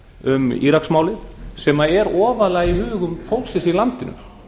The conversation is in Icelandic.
um íraksmálið sem er ofarlega í hugum fólksins í landinu